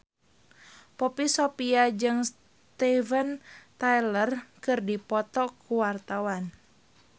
Poppy Sovia jeung Steven Tyler keur dipoto ku wartawan